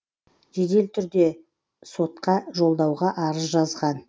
жедел түрде сотқа жолдауға арыз жазған